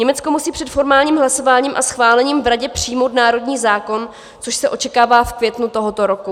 Německo musí před formálním hlasováním a schválením v Radě přijmout národní zákon, což se očekává v květnu tohoto roku.